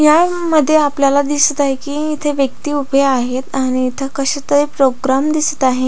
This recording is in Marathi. या रूम मध्ये आपल्याला दिसत आहे की इथे व्यक्ति उभे आहेत आणि इथ कशा तरी प्रोग्राम दिसत आहे.